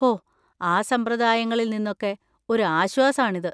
ഹോ! ആ സമ്പ്രദായങ്ങളിൽ നിന്നൊക്കെ ഒരു ആശ്വാസാണിത്.